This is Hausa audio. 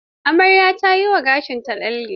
Amaryar ta yi wa gashinta lalle.